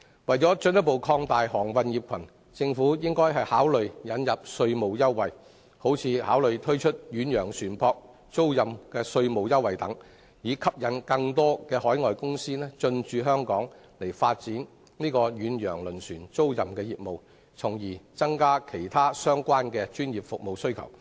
為進一步擴大航運業群，政府應考慮引入稅務優惠，例如推出遠洋船舶租賃稅務優惠等，以吸引更多海外公司進駐香港發展遠洋輪船租賃業務，從而增加對其他相關專業服務的需求。